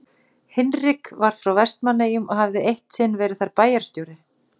Hinrik var frá Vestmannaeyjum og hafði eitt sinn verið þar bæjarstjóri.